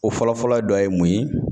O fɔlɔ-fɔlɔ dɔ ye mun ye?